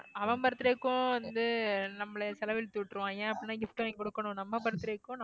அவன் birthday க்கும் வந்து நம்மள செலவிழுத்துவிட்டுருவாங்க அப்படின்னா gift வாங்கி கொடுக்கணும் நம்ம birthday க்கும்